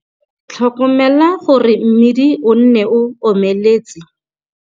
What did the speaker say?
Tlhokomela gore mmidi o nne o omeletse.